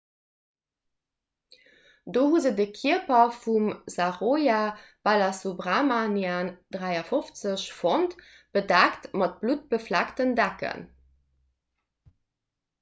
do hu se de kierper vum saroja balasubramanian 53 fonnt bedeckt mat bluttbefleckten decken